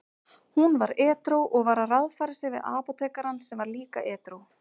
Hún var edrú og var að ráðfæra sig við apótekarann sem var líka edrú.